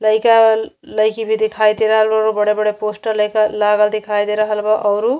लईका अवल लईकी भी दिखाई दे रहल बाड़ो। बड़े-बड़े पोस्टर लईका लागल देखाई दे रहल बा। औरु --